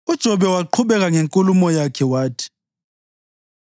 UJobe waqhubeka ngenkulumo yakhe wathi: